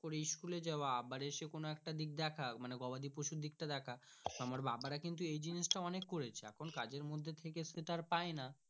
করে school যাওয়া আবার এসে কোনো একটা দিক দেখা মানে গবাদি পশু দিকটা দেখা আমার বাবার কিন্তু এইজিনস অনেক করেছে এখন কাজের মর্ধে থাকে সেটা আর পাই না।